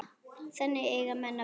Þannig eiga menn að vera.